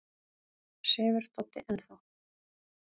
Sefur Doddi enn þá?